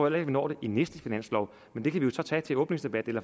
at vi når det i næste finanslov men det kan vi så tage til åbningsdebatten